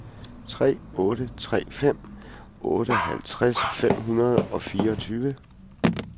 tre otte tre fem otteoghalvtreds fem hundrede og fireogtyve